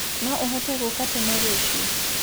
No ũhote gũũka tene rũcĩo?